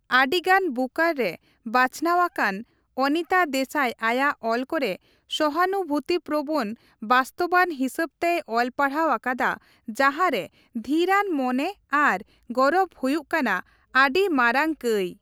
ᱟᱹᱰᱤᱜᱟᱱ ᱵᱩᱠᱟᱨ ᱨᱮ ᱵᱟᱪᱷᱱᱟᱹᱣ ᱟᱠᱟᱱ ᱚᱱᱤᱛᱟ ᱫᱮᱥᱟᱭ ᱟᱭᱟᱜ ᱚᱞ ᱠᱚᱨᱮ ''ᱥᱚᱦᱟᱱᱩᱵᱷᱩᱛᱤᱯᱨᱚᱵᱚᱱ" ᱵᱟᱥᱛᱚᱵᱟᱛ ᱦᱤᱥᱟᱹᱵ ᱛᱮᱭ ᱚᱞᱯᱟᱲᱦᱟᱣ ᱟᱠᱟᱫᱟ ᱡᱟᱸᱦᱟ ᱨᱮ ᱫᱷᱤᱨᱟᱱ ᱢᱚᱱᱮ ᱟᱨ ᱜᱚᱨᱚᱵ ᱦᱩᱭᱩᱜ ᱠᱟᱱᱟ ᱟᱹᱰᱤ ᱢᱟᱨᱟᱝ ᱠᱟᱹᱭ ᱾